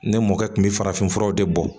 Ne mɔkɛ kun bi farafinfuraw de bɔ